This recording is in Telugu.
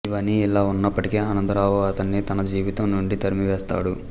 ఇవన్నీ ఇలా ఉన్నప్పటికీ ఆనందరావు అతనిని తన జీవితం నుండి తరిమివేస్తాడు